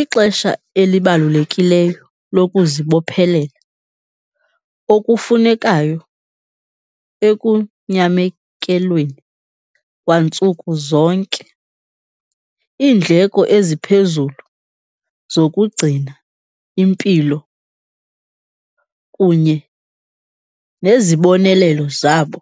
Ixesha elibalulekileyo lokuzibophelela okufunekayo ekunyamekelweni kwantsuku zonke. Iindleko eziphezulu zokugcina impilo kunye nezibonelelo zabo,